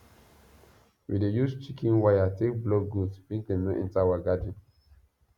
we dey use chicken wire take block goat make dem no enter our garden